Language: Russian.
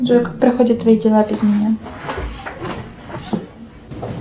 джой как проходят твои дела без меня